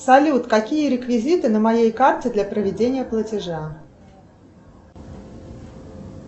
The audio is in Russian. салют какие реквизиты на моей карте для проведения платежа